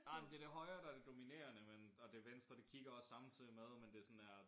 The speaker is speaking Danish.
Ej men det det højre der er det dominerende men og det venstre det kigger også samtidig med men det sådan der